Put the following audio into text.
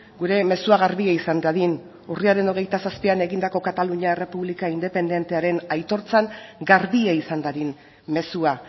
gure mezua garbia izan dadin urriaren hogeita zazpian egindako katalunia errepublika independentearen aitortzan garbia izan dadin mezua